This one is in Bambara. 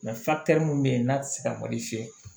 mun bɛ yen n'a tɛ se ka malo fiyɛ